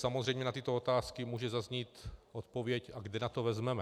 Samozřejmě na tyto otázky může zaznít odpověď: A kde na to vezmeme?